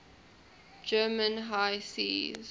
german high seas